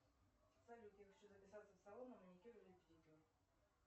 салют я хочу записаться в салон на маникюр или педикюр